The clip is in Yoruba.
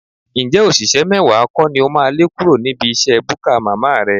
Ǹjẹ́ òṣìṣẹ́ mẹ́wàá kọ́ ni o máa lé kúrò níbi iṣẹ́ búkà màmá rẹ?